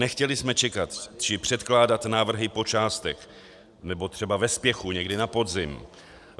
Nechtěli jsme čekat či předkládat návrhy po částech nebo třeba ve spěchu někdy na podzim.